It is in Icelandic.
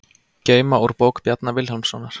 Geyma úr bók Bjarna Vilhjálmssonar